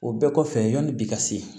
O bɛɛ kɔfɛ yani bi ka se